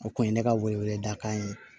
O kun ye ne ka wele wele da k'a ye